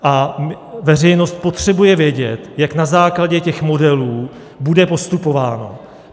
A veřejnost potřebuje vědět, jak na základě těch modelů bude postupováno.